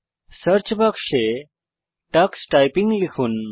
search search বাক্সে টাক্স typing লিখুন